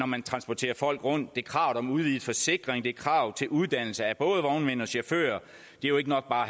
man transporterer folk rundt det er krav om udvidet forsikring det er krav til uddannelse af både vognmænd og chauffører det er jo ikke nok bare